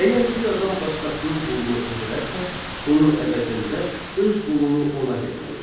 Əgər bir adam başqasının qulunu öldürərsə, bunun əvəzində öz qulunu ona verməlidir.